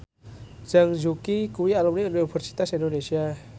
Zhang Yuqi kuwi alumni Universitas Indonesia